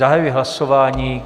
Zahajuji hlasování.